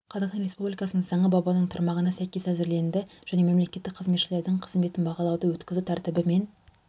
қазақстан республикасының заңы бабының тармағына сәйкес әзірленді және мемлекеттік қызметшілердің қызметін бағалауды өткізу тәртібі мен